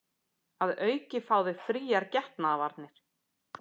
Að auki fá þau fríar getnaðarvarnir